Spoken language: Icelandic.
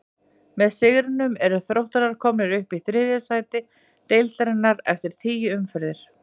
Með sigrinum eru Þróttarar komnir upp í þriðja sæti deildarinnar eftir tíu umferðir.